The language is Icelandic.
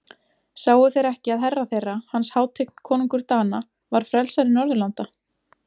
Sáu þeir ekki að herra þeirra, hans hátign konungur Dana, var frelsari Norðurlanda?